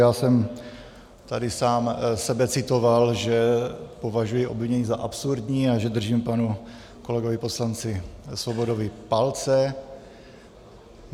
Já jsem tady sám sebe citoval, že považuji obvinění za absurdní a že držím panu kolegovi poslanci Svobodovi palce.